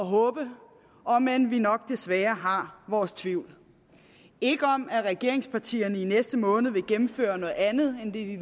håbe om end vi nok desværre har vores tvivl ikke om at regeringspartierne i næste måned vil gennemføre noget andet end det de